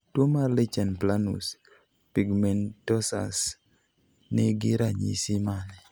Tuo mar lichen planus pigmentosus ni gi ranyisi mane?